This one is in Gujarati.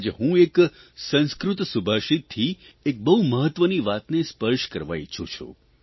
આજ હું એક સંસ્કૃત સુભાષિતથી એક બહુ મહત્વની વાતને સ્પર્શ કરવા ઇચ્છું છું